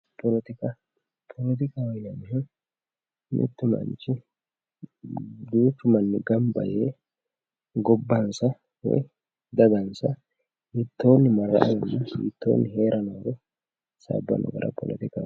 poletika poletikaho yaa duuchu manni gamba yee gobbansa woyi dagansa hiittoonni marra''annoro woyi gashshannoro kulannoha poletikaho yinanni